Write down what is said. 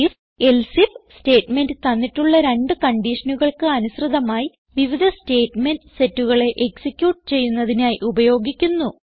IfElse if statement തന്നിട്ടുള്ള രണ്ട് കൺഡിഷനുകൾക്ക് അനുസൃതമായി വിവിധ സ്റ്റേറ്റ്മെന്റ് setകളെ എക്സിക്യൂട്ട് ചെയ്യുന്നതിനായി ഉപയോഗിക്കുന്നു